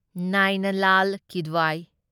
ꯅꯥꯢꯅ ꯂꯥꯜ ꯀꯤꯗ꯭ꯋꯥꯢ